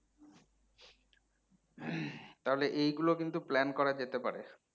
তাহলে এইগুলো কিন্তু plan করা যেতে পারে